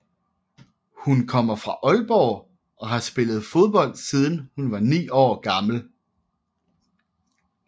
Hun kommer fra Aalborg og har spillet fodbold siden hun var 9 år gammel